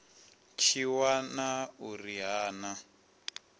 tshi wana uri ha na